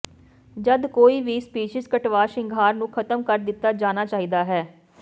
ਜਦ ਕੋਈ ਵੀ ਸਪੀਸੀਜ਼ ਕਟਵਾ ਸ਼ਿੰਗਾਰ ਨੂੰ ਖ਼ਤਮ ਕਰ ਦਿੱਤਾ ਜਾਣਾ ਚਾਹੀਦਾ ਹੈ